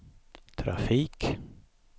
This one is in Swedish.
trafik